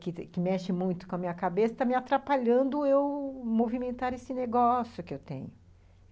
que que mexe muito com a minha cabeça, está me atrapalhando eu movimentar esse negócio que eu tenho.